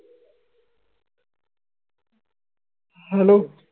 hello?